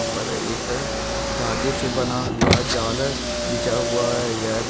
हा पर एक धागे से बना हुआ जाल बिछा है यह --